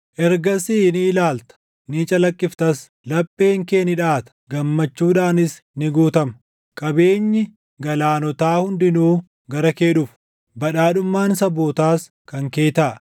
Ergasii ni ilaalta; ni calaqqiftas; lapheen kee ni dhaʼata; gammachuudhaanis ni guutama; qabeenyi galaanotaa hundinuu gara kee dhufu; badhaadhummaan sabootaas kan kee taʼa.